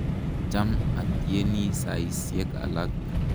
Cham atyeni saisyek alak.